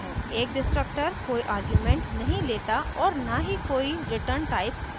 एक destructor कोई arguments नहीं लेता और न ही कोई return types रखता है